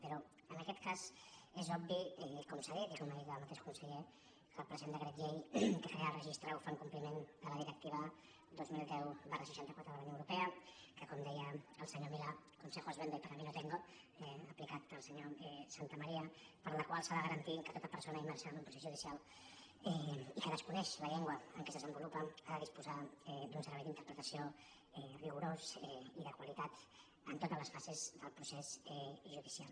però en aquest cas és obvi com s’ha dit i com ha dit el ma· teix conseller que el present decret llei que crea el re·gistre ho fa en compliment de la directiva dos mil deu seixanta quatre de la unió europea que com deia el senyor milà con·sejos vendo y para mí no tengo aplicat al senyor santamaría per la qual s’ha de garantir que tota per·sona immersa en un procés judicial i que desconeix la llengua en què es desenvolupa ha de disposar d’un servei d’interpretació rigorós i de qualitat en totes les fases del procés judicial